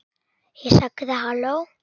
Ég sagði: Halló?